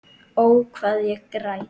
Ó, hvað ég græt.